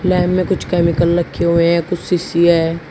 Lab में कुछ chemical रखे हुए हैं कुछ सीसी है।